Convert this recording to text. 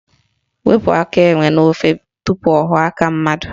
Wepu aka enwe n'ofe tupu ọ ghọọ aka mmadụ!